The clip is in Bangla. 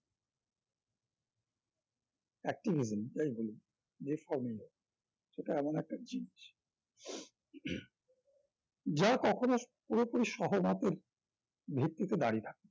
active event যাই বলুন যে সেটা এমন একটা জিনিস যা কখন পুরোপুরি সহমতের ভিত্তিতে দাঁড়িয়ে থাকে